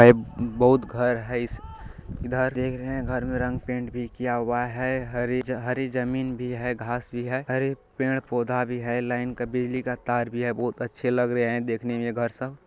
और बहुत घर है इस इधर देख रहे है घर में रंग पेंट किया हुआ है हरी जमीन भी है घास भी है हरे पेड़ पौधा भी है लाइन का बिजली का तार भी है। बहुत अच्छे लग रहे हैं देखने में घर सब ।